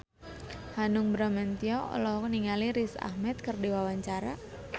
Hanung Bramantyo olohok ningali Riz Ahmed keur diwawancara